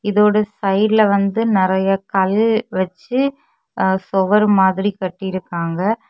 இதோட சைடுல வந்து நிறைய கல் வச்சு சொவர் மாதிரி கட்டியிருக்காங்க.